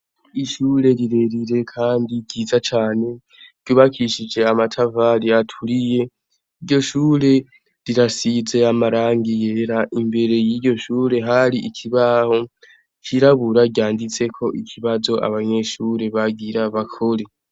Ishure rirerire kandi ryiza cane ryubakishij' amatafar' aturiye, iryo shure rirasiz' amarangi yera, imbere yiryo shure har' ikibaho cirabura ryanditsek' ikibaz' abanyeshure bagira bakore.